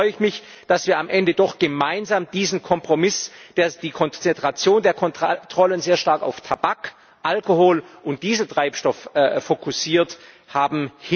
Deswegen freue ich mich, dass wir am Ende doch gemeinsam diesen Kompromiss hinbekommen und die Konzentration der Kontrollen sehr stark auf Tabak, Alkohol und Dieseltreibstoff fokussiert haben.